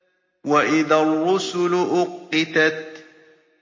وَإِذَا الرُّسُلُ أُقِّتَتْ